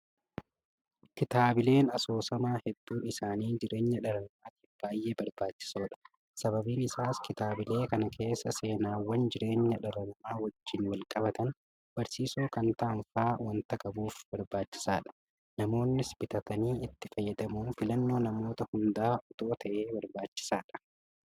Kitaabileen asoosamaa hedduun isaanii jireenya dhala namaatiif baay'ee barbaachisoodha. Sababiin isaas kitaabilee kana keessa seenaawwan jireenya dhala namaa wajjin walqabatan barsiisoo kan ta'an fa'aa waanta qabuuf barbaachisaadha. Namoonnis bitatanii itti fayyadamuun filannoo namoota hundaa itoo ta'ee barbaachisaadha.